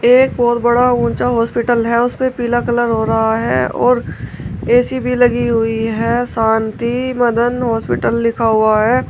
एक बहोत बड़ा ऊंचा हॉस्पिटल है उसपे पीला कलर हो रहा है और ए_सी भी लगी हुई है शांति मदन हॉस्पिटल लिखा हुआ है।